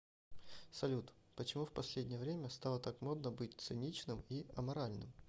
салют почему в последнее время стало так модно быть циничным и аморальным